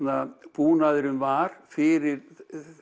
búnaðurinn var fyrir